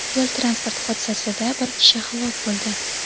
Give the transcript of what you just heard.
Yo‘l-transport hodisasida bir kishi halok bo‘ldi.